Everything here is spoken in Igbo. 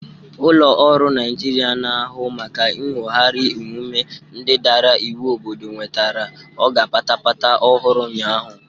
Ụlọ ọrụ Naijiria na-ahụ maka inwogari omume ndị dara iwu obodo nwetere ọga patapata ọhụrụ ụnyaahụ.